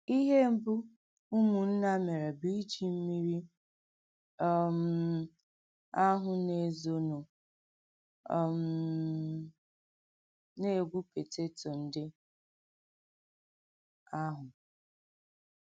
Ìhè mbù ùmùnnà mèré bụ̀ íjì mmírí um àhụ̀ nà-èzònụ̀ um nà-ègwú pótétò ǹdí àhụ̀.